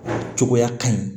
Cogoya ka ɲi